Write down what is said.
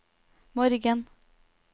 morgen